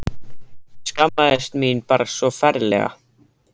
Ég skammaðist mín bara svo ferlega.